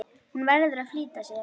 Hún verður að flýta sér.